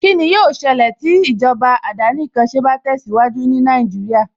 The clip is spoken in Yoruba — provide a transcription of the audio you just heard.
Kíni yóó ṣẹlẹ̀ tí ìjọba àdánìkanṣe bá tẹ̀síwájú ní Nàìjíríà